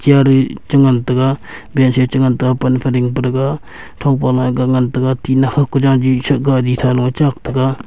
garI cha ngantaga bench ee chI ngantaga pan fa dingpa thaga thongpa akga ngantaga tina phaI ka jajI sha garI tha lo ee chak taga.